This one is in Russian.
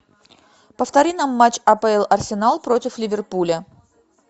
повтори нам матч апл арсенал против ливерпуля